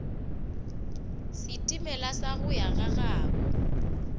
setimela sa go ya gagabo